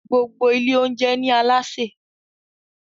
gbogbo Ilé oúnjẹ ní Alásè